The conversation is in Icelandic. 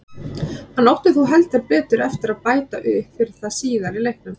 Hann átti þó heldur betur eftir að bæta upp fyrir það síðar í leiknum.